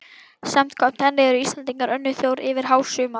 Samkvæmt henni eru Íslendingar önnur þjóð yfir hásumar